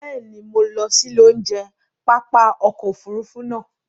Bẹ́ẹ̀ ni, mo lọ sí ilé oúnjẹ pápá ọkọ̀ Òfurufú naa